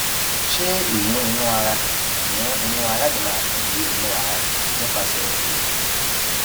ṣé ìyún inú ara ìyún inú ara lè máa tàn dé inú ara nípasè ẹwù